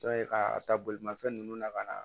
Dɔ ye ka ta bolimafɛn ninnu na ka na